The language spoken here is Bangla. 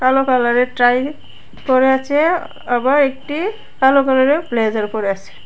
কালো কালার এর ট্রাই পরে আছে আবার একটি কালো কালার এর ব্লেজার পরে আসে।